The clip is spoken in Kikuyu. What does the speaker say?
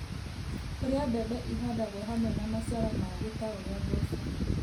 kũrĩa mbembe ihandagwo hamwe na maciaro mangĩ ta ũrĩa mboco,